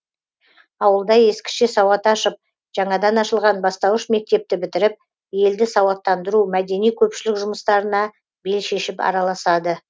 ауылда ескіше сауат ашып жаңадан ашылған бастауыш мектепті бітіріп елді сауаттандыру мәдени көпшілік жұмыстарына бел шешіп араласады